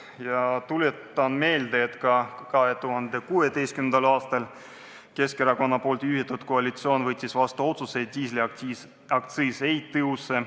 Ma tuletan meelde, et 2016. aastal võttis Keskerakonna juhitud koalitsioon vastu otsuse, et diislikütuse aktsiis ei tõuse.